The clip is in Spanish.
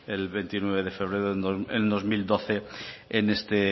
el veintinueve de febrero en dos mil doce en este